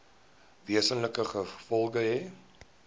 wesenlike gevolge hê